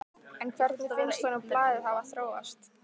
En hvernig finnst honum blaðið hafa þróast?